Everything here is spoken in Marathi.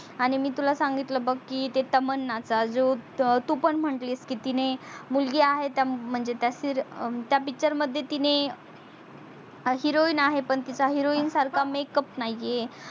आणि मी तुला सांगितल बग की ते तमन्नाचा जो तू पण म्हटली की तिने मुलगी आहेत म्हणजे त्या picture मध्ये तिने heroine आहे पण heroine सारखा makeup नाही आहे.